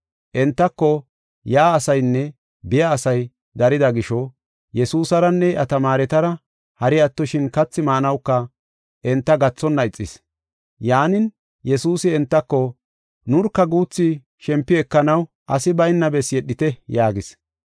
Entako yaa asaynne biya asay darida gisho, Yesuusaranne iya tamaaretara, hari attoshin kathi maanawuka enta gathonna ixis. Yaanin, Yesuusi entako, “Nurka guuthi shempi ekanaw asi bayna bessi yedhite” yaagis.